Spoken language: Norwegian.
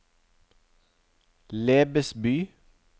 Lebesby